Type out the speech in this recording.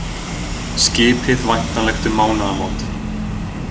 Skipið væntanlegt um mánaðamót